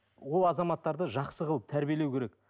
ол азаматтарды жақсы қылып тәрбиелеу керек